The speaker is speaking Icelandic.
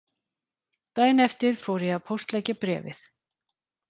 Daginn eftir fór ég að póstleggja bréfið